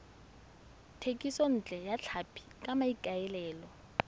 thekisontle ya tlhapi ka maikaelelo